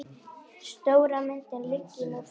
Stóra myndin liggi nú fyrir.